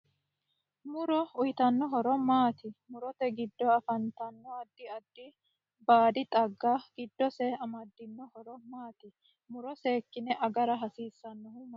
Muro uyiitanno horo maati murote giddo afantanno addi addi baadi xaaga giddose amadino horo maati muro seekine agara hasiisanohu mayiirati